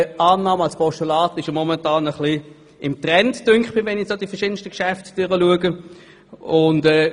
Aber eine Annahme als Postulat liegt im Moment ein wenig im Trend, wie es scheint, wenn man die letzten Geschäfte anschaut.